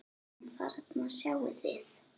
En þarna sjáið þið!